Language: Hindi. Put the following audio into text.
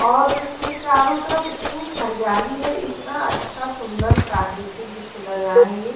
और इसके चारों तरफ इतनी हरियाली है इतना अच्छा सुंदर प्राकृतिक दृश्य लग रहा है ये।